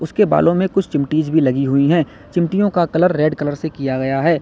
इसके बालों में कुछ चिमटीज भी लगी हुई है चिमटियों का कलर रेड कलर से किया गया है।